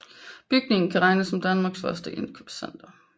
Bygningen kan regnes som Danmarks første indkøbscenter